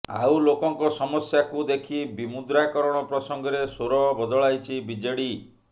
ଆଉ ଲୋକଙ୍କ ସମସ୍ୟାକୁ ଦେଖି ବିମୁଦ୍ରାକରଣ ପ୍ରସଙ୍ଗରେ ସ୍ୱର ବଦଳାଇଛି ବିଜେଡି